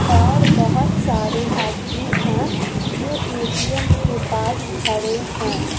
और बहोत सारे आदमी हैं जो ए_टी_एम के पास खड़े हैं।